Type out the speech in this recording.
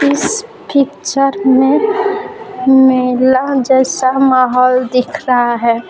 इस पिक्चर में मेला जैसा माहौल दिख रहा है।